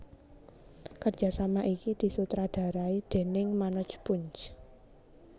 Kerjasama iki disutradarai déning Manoj Punj